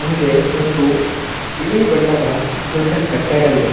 ಮುಂದೆ ಒಂದು ಬಿಳಿ ಬಣ್ಣದ ದೊಡ್ಡ ಕಟ್ಟಡವಿದೆ.